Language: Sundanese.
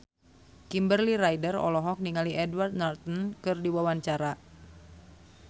Kimberly Ryder olohok ningali Edward Norton keur diwawancara